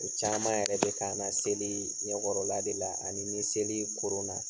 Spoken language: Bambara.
O caaman yɛrɛ be k'an na seli ɲɛkɔrɔla de la ani ni seli koronna.